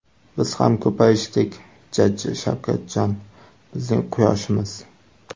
Biz ham ko‘payishdik jajji Shavkatjon, bizning quyoshimiz.